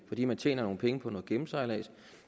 fordi man tjener nogle penge på noget gennemsejlads